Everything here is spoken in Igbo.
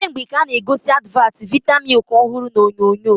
Kemgbe ka a-na egosi advat vita milk ọhụrụ na onyonyo